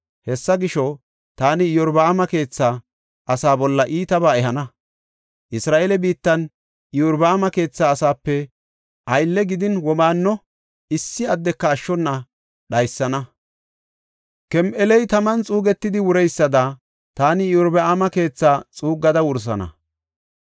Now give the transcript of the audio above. Hessa gisho, taani Iyorbaama keetha asaa bolla iitabaa ehana. Isra7eele biittan Iyorbaama keetha asaape aylle gidin womaanno issi addeka ashshona dhaysana. Kem7eley taman xuugetidi wureysada taani Iyorbaama keethaa xuuggada wursana.